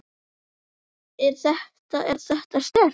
Er þetta. er þetta sterkt?